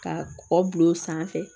Ka kɔkɔ bil'o sanfɛ